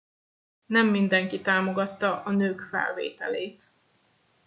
nem mindenki támogatta a nők felvételét